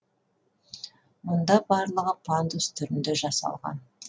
мұнда барлығы пандус түрінде жасалған